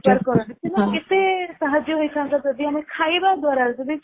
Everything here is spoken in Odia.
ବେପାର କରନ୍ତି ସେମାନଙ୍କୁ କେତେ ସାହାର୍ଯ୍ୟ ହେଇଥାନ୍ତା ଯଦି ଆମେ ଖାଇବା ଦ୍ଵାରା